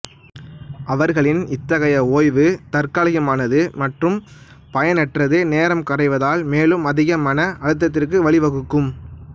அவர்களின் இத்தகைய ஓய்வு தற்காலிகமானது மற்றும் பயனற்றது நேரம் கரைவதால் மேலும் அதிக மன அழுத்தத்திற்கு வழி வகுக்கும்